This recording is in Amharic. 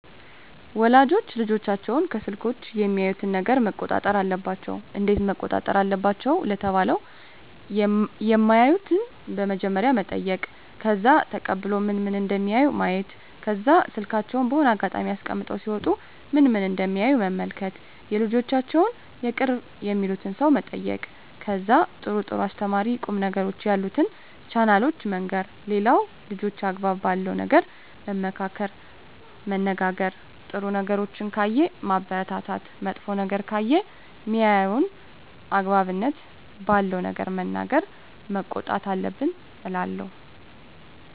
ወላጆች ልጆቻቸውን ከስልኮች የሚያዩትን ነገረ መቆጣጠር አለባቸው እንዴት መቆጣጠር አለባቸው ለተባለው የማዩትን በመጀመሪያ መጠይቅ ከዛ ተቀብሎ ምን ምን እደሚያዩ ማየት ከዛ ስልካቸውን በሆነ አጋጣሚ አስቀምጠው ሲወጡ ምን ምን እደሚያዩ መመልከት የልጆቻቸውን የቅርብ የሚሉትን ሰው መጠየቅ ከዛ ጥሩ ጥሩ አስተማሪ ቁም ነገሮችን ያሉትን ቻናሎችን መንገር ሌላው ልጆችን አግባብ ባለው ነገር መመካከር መነጋገር ጥሩ ነገሮችን ካየ ማበረታታት መጥፎ ነገር ከሆነ ሜያየው አግባብነት ባለው ነገር መናገር መቆጣት አለብን እላለው